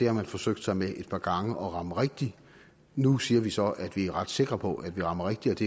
har forsøgt sig med et par gange at ramme rigtigt nu siger vi så at vi er ret sikre på at vi rammer rigtigt